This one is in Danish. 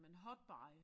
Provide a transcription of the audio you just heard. Men hot buy